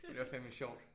Det var fandeme sjovt